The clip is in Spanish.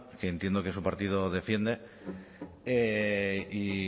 que entiendo que su partido defiende y